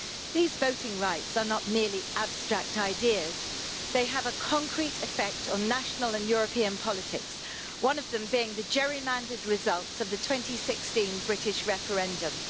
These voting rights are not merely abstract ideas, they have a concrete effect on national and European politics one of them being the gerrymandered results of the 2016 British referendum.